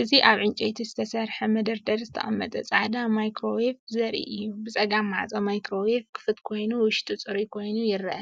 እዚ ኣብ ዕንጨይቲ ዝተሰርሐ መደርደሪ ዝተቐመጠ ጻዕዳ ማይክሮዌቭ ዘርኢ እዩ። ብጸጋም ማዕጾ ማይክሮዌቭ ክፉት ኮይኑ፡ ውሽጡ ጽሩይ ኮይኑ ይርአ።